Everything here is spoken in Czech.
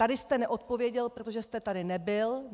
Tady jste neodpověděl, protože jste tady nebyl.